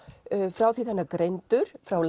frá því þegar hann er greindur frá